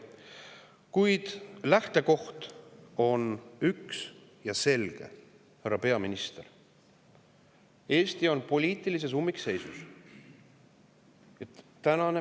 Kuid lähtekoht, härra peaminister, on üks ja selge: Eesti on poliitilises ummikseisus.